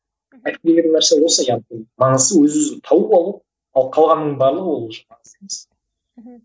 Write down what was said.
айтқым келген нәрсе осы яғни яғни маңыздысы өз өзін тауып алу ал қалғанының барлығы ол уже маңызды емес мхм